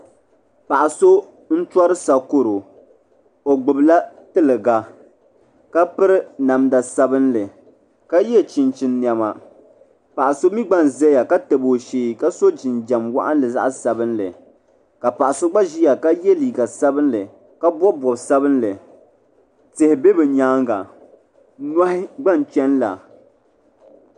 Paɣa so n tori sakoro o gbibila tiliga ka piri namda sabinli ka ye chinchin niɛma paɣa so mi gba n zaya ka ye nima ka tabi o shee ka so jinjiɛm waɣinli zaɣa sabinli ka paɣa so gba ʒia ka ye liiga sabinli ka bobi bob sabinli tihi be bɛ nyaanga nohi gba n cheni la.